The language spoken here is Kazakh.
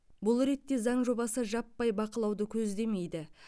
бұл ретте заң жобасы жаппай бақылауды көздемейді